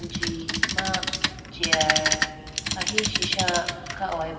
anji ma chair ahi sisha kha hoyi bo.